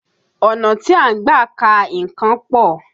Ọ̀nà tí a ń gbà ka nǹkan pọ̀